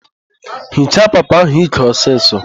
Hichaa papa ahụ íkè ọsịsọ!